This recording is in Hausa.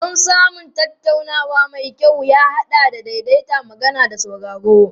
Don samun tattaunawa mai kyau ya haɗa da daidaita magana da sauraro.